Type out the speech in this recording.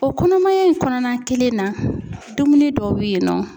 O kɔnɔmaya in kɔnɔna kelen na, dumuni dɔw bɛ yen nɔ